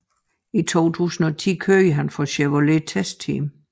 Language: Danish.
I 2010 kørte han for Cervélo TestTeam